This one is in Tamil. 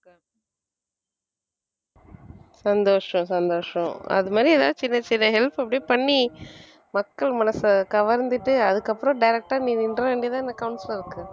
சந்தோஷம் சந்தோஷம் அது மாதிரி ஏதாவது சின்னச் சின்ன help அப்படியே பண்ணி மக்கள் மனச கவர்ந்துட்டு அதுக்கப்புறம் direct ஆ நீ நின்ற வேண்டியது தான் councillor க்கு